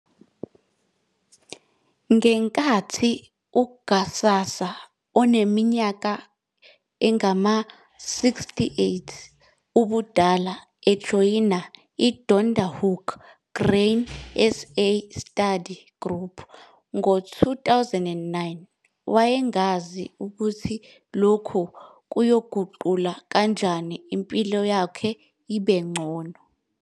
Ngenkathi uGhsasa oneminyaka engama-68 ubudala ejoyina i-Donkerhoek Grain SA Study Group ngo-2009 wayengazi ukuthi lokhu kuzoyiguqula kanjani impilo yakhe ibe ngcono.